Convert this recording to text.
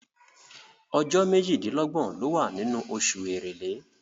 Ọjọ́ méjìdínlọ́gbọ̀ ló wà nínú oṣù Èrèlé.